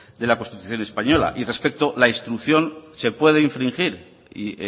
de la constitución española y respecto a la instrucción se puede infringir y